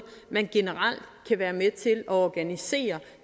man generelt kan være med til at organisere